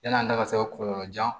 Yan'an ka se kɔlɔlɔjan